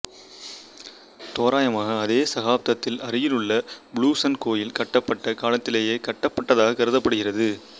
தோராயமாக அதே சகாப்தத்தில் அருகிலுள்ள புளூசன் கோயில் கட்டப்பட்ட காலத்திலேயே கட்டப்பட்டதாக கருதப்படுகிறது